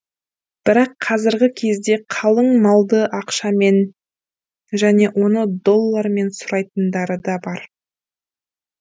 бірақ қазіргі кезде қалың малды ақшамен және оны доллармен сұрайтындары да бар